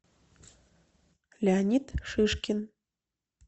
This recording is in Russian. леонид шишкин